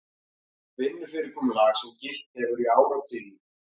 Vinnufyrirkomulag sem gilt hefur í áratugi